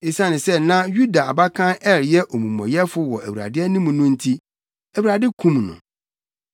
Esiane sɛ na Yuda abakan Er yɛ omumɔyɛfo wɔ Awurade anim no nti, Awurade kum no.